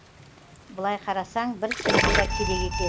былай қарасаң бір цензура керек екен